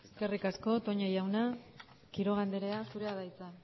eskerrik asko toña jauna quiroga andrea zurea da hitza